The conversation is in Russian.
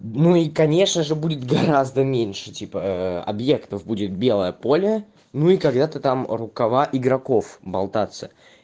ну и конечно же будет гораздо меньше типа объектов будет белое поле ну когда-то там рукава игроков болтаться